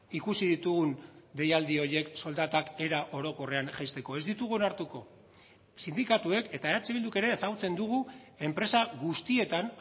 ikusi ditugun deialdi horiek soldatak era orokorrean jaisteko ez ditugu onartuko sindikatuek eta eh bilduk ere ezagutzen dugu enpresa guztietan